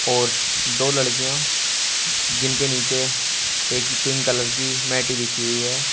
और दो लड़कियां जिनके नीचे एक ही पिंक कलर कि मैट बिछी हुई है।